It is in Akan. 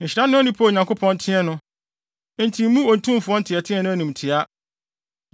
“Nhyira ne onipa a Onyankopɔn teɛ no, enti mmu Otumfo nteɛteɛ no animtiaa.